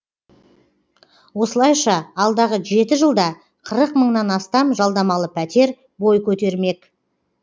осылайша алдағы жеті жылда қырық мыңнан астам жалдамалы пәтер бой көтермек